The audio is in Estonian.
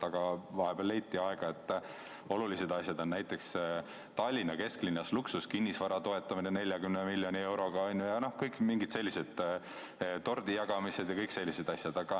Aga vahepeal leiti, et olulised asjad on näiteks Tallinna kesklinnas luksuskinnisvara toetamine 40 miljoni euroga ja mingid tordijagamised ja kõik sellised asjad.